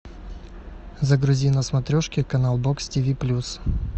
загрузи на смотрешке канал бокс тиви плюс